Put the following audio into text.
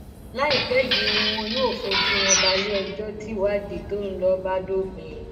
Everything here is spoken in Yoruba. láìpẹ yìí ni wọn yóò fojú wọn balẹẹjọ tìwádìí tó ń lọ bá dópin